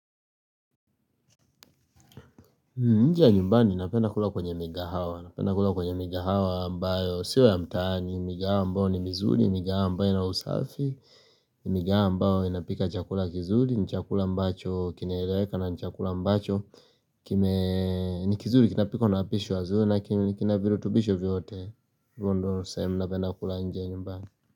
Nje ya nyumbani napenda kula kwenye mikahawa, napenda kula kwenye mikahawa ambayo sio ya mtaani, mikahawa ambayo ni mizuri, mikahawa ambayo ina usafi, mikahawa ambayo inapika chakula kizuri, ni chakula ambacho kinaeleweka na ni chakula ambacho, kime, ni kizuri kinapikwa na wapishi wazuri na kina virutubisho vyote, hivo ndio ni sehemu napenda kula nje nyumbani.